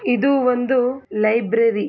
ಇದು ಒಂದು ಲೈಬ್ರರಿ .